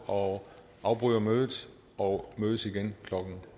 og afbryder mødet og mødes igen klokken